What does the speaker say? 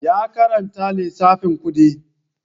Ya karanta lissafin kuɗi